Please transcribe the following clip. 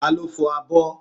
Taló fọ abọ́?